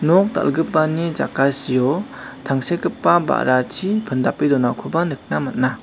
nok dal·gipani jakasio tangsekgipa ba·rachi pindape donakoba nikna man·a.